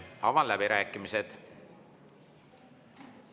Avan läbirääkimised.